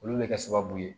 Olu bɛ kɛ sababu ye